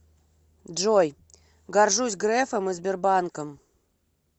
джой горжусь грефом и сбербанком